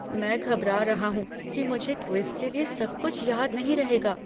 मैं घबरा रहा हूँ कि मुझे क्विज़ के लिए सब कुछ याद नहीं रहेगा।